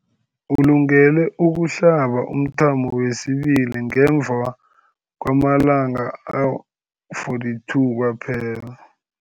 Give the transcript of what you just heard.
Ulungele ukuhlaba umthamo wesibili ngemva kwama-42 wamalanga kwaphela.